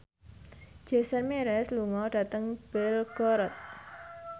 Jason Mraz lunga dhateng Belgorod